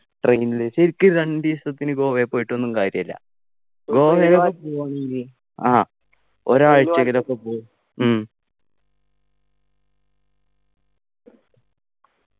train ൽ ശരിക്കു രണ്ടീസത്തിനു ഗോവേ പോയിട്ടൊന്നും കാര്യല്ല ആ ഒരാഴ്ച എങ്കിലൊക്കെ പോ ഉം